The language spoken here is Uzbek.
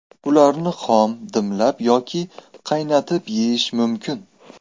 Ularni xom, dimlab yoki qaynatib yeyish mumkin.